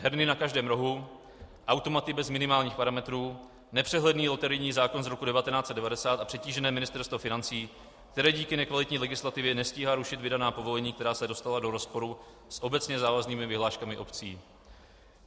Herny na každém rohu, automaty bez minimálních parametrů, nepřehledný loterijní zákon z roku 1990 a přetížené Ministerstvo financí, které díky nekvalitní legislativě nestíhá rušit vydaná povolení, která se dostala do rozporu s obecně závaznými vyhláškami obcí.